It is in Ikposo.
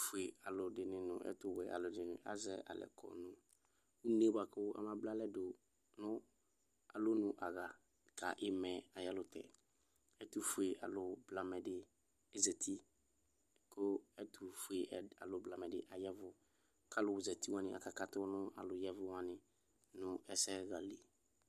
ɛtʋƒʋe alʋ nʋ ɛtʋwɛ alʋ ɛdini azɛ alɛ kɔ nʋ ʋnee bʋakʋ ɔmablama dʋ nʋ alɔnʋ aha ka imaɛ ayɛlʋtɛ ɛtʋƒʋe alʋblamɛdi ezati kʋ ɛtʋƒʋe alʋ blamɛdi aya ɛvʋ ka alʋ zati wani aka katʋ nʋ alʋ yɛvʋ wani nʋ ɛsɛ hali